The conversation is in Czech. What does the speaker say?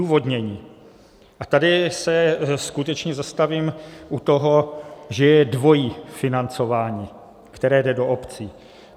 Odůvodnění - a tady se skutečně zastavím u toho, že je dvojí financování, které jde do obcí.